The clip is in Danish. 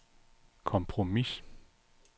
kompromis